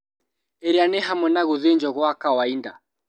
Ĩrĩa nĩ hamwe na gũthĩnjwo gwa kawainda